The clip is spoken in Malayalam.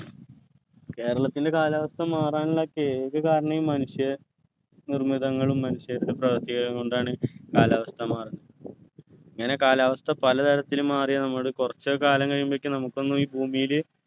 കേരളത്തിൻ്റെ കാലാവസ്ഥ മാറാനുള്ളക്കെ ഏക കാരണം ഈ മനുഷ്യ നിർമ്മിതങ്ങളും മനുഷ്യരുടെ പ്രവർത്തികളും കൊണ്ടാണ് കാലാവസ്ഥ മാറുന്നത് ഇങ്ങനെ കാലാവസ്ഥ പലതരത്തിലും മാറിയാൽ നമ്മള് കുറച്ച് കാലം കഴിയുമ്പോഴേക്ക് നമുക്കൊന്നും ഈ ഭൂമിയില്